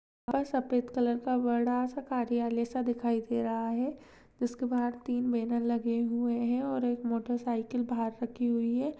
वह सफ़ेद कलर का बड़ा सा कार्यालय सा दिखाई दे रहा है जिसके बहार तीन बैनर लगे हुये है और एक मोटरसाइकिल बहार रखी हुई है।